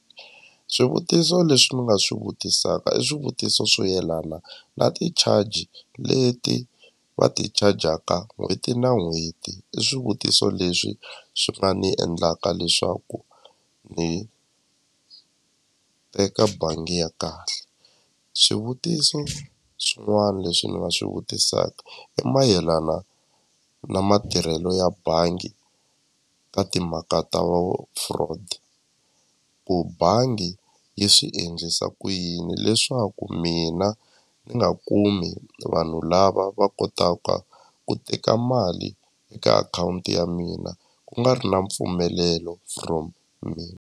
Swivutiso leswi ni nga swi vutisaka i swivutiso swo yelana na ti-charge leti va ti chajaka n'hweti na n'hweti i swivutiso leswi swi nga ni endlaka leswaku ni teka bangi ya kahle swivutiso swin'wana leswi ni nga swi vutisaka i mayelana na matirhelo ya bangi ka timhaka ta vu fraud ku bangi yi swi endlisa ku yini leswaku mina ni nga kumi vanhu lava va kotaka ku teka mali eka akhawunti ya mina ku nga ri na mpfumelelo from mina.